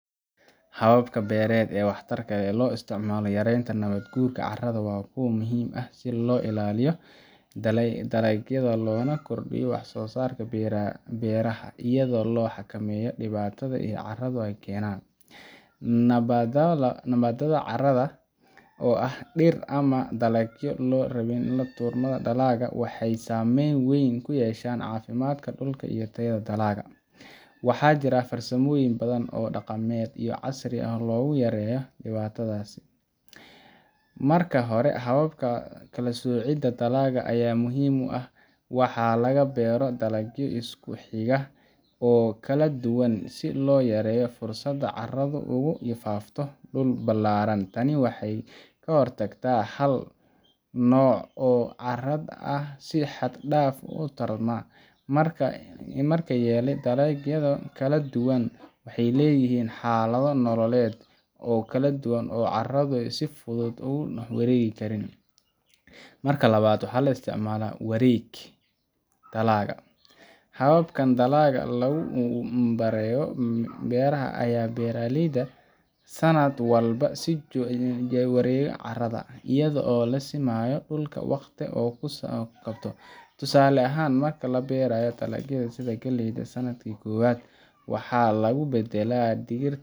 Hababka beeret ee waxtarka ee lo isticmaloh yarenta nawat guura carada Wa kuwo muhim ah si lo ilaliyoh dalagyada lona kordiyoh waxsosarka beeraha eyado lo xakameeyoh diwataha iyo carada keenan, nabadala carada oo aah waxadheer amah dalagyo laduurmoh dalaga meel weyn kuyeshan cafimdkaa dulka eyoh teeyada dalaga waxajirah farsamooyin oo beela daqametyo oo casri aah lagu yareoh diwatathasi, marka hori hababka kalasocedah dalaga Aya muhim u aah waxalaga beeroh dalagyo iskuxisa oo kaladuwa n si loyareeyoh fursad carada kufafti dulka balearan taani waxay khirtagt dalagyo kaladuwan waxaleeyahin oo carado si futhut ugu nuux wareegi Karin marka lawatbwaxa la isticmalah wareeg dalagah hababka kan lagu daleyoh beeraha beerleyda sanat sii jahwerer carada eyado lasinayoh dulka waqdi tusale ahaan marka labeerayoh dalagayada sethan kaleyda waxa lagu badalah digir.